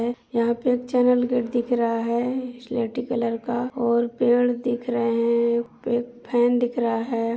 यहाँ पे एक चेनल गेट दिख रहा है स्लेटी कलर का और पेड़ दिख रहे हैं। एक फेन दिख रहा है।